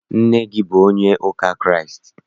Nna gị abụ onye ụka Kraịst?